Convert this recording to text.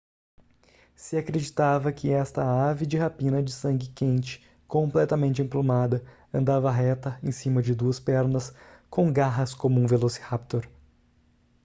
se acreditava que esta ave de rapina de sangue quente completamente emplumada andava reta em cima de duas pernas com garras como um velociraptor